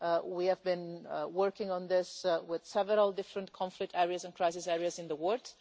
We have been working on this with several different conflict areas and crisis areas in the world.